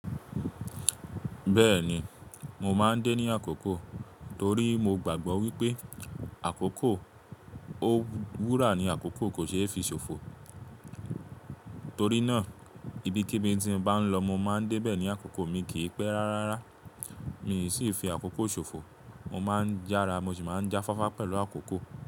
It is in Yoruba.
Bẹ́ẹ̀ni, mo maa ń dé ní àkókò torí mo gbàgbọ́ wípé àkókò o ó wúrà ni àkókò kò ṣe é fi ṣòfò. Torí náà ibikíbi tí n bá ń lọ mo máa ń dé bẹ̀ ní àkókò mi kì í pẹ́ rárárára. Mi sì fi àkókò ṣòfò. Mo maa ń jára, mo sì máa ń jáfáfá pẹ̀lú àkókò.